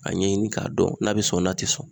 A ɲɛɲini k'a dɔn n'a be sɔn n'a te sɔn